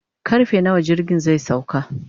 karfe nawa jirgin zai sauka